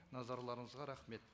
назарларыңызға рахмет